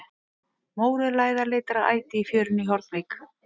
Mórauð læða leitar að æti í fjörunni í Hornvík.